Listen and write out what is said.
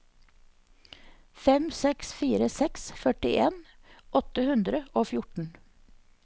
fem seks fire seks førtien åtte hundre og fjorten